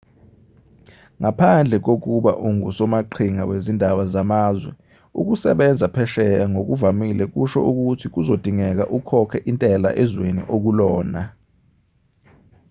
ngaphandle kokuba ungusomaqhinga wezindaba zamazwe ukusebenza phesheya ngokuvamile kusho ukuthi kuzodingeka ukhokhe intela ezweni okulona